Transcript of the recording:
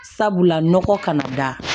Sabula nɔgɔ kana da